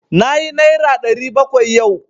Nayi naira ɗari bakwai yau.